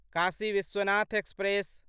Kashi Vishwanath express